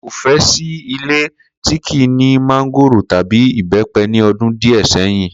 Ko fẹ sí ilé tí kìí ni mángòrò tàbí ìbépe ni ọdún díẹ̀ sẹ́yìn.